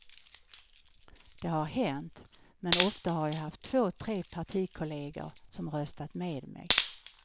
Det har hänt, men ofta har jag haft två tre partikolleger som röstat med mig.